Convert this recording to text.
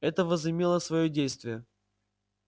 это возымело своё действие